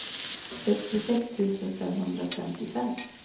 sextiosex tusen femhundrafemtiofem